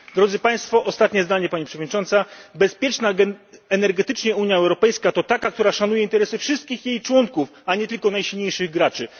Drodzy Państwo, ostatnie zdanie Pani Przewodnicząca, bezpieczna energetycznie Unia Europejska to taka, która szanuje interesy wszystkich jej członków, a nie tylko najsilniejszych graczy.